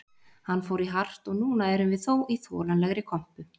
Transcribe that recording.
Hann fór í hart og núna erum við þó í þolanlegri kompu